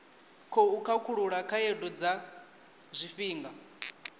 khou khakhulula khaedu dza zwifhinga